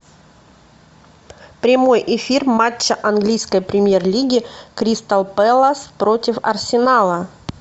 прямой эфир матча английской премьер лиги кристал пэлас против арсенала